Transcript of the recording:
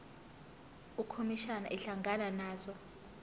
ukhomishana ehlangana nazo